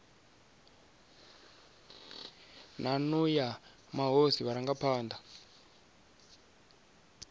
na nnu ya mahosi vharangaphana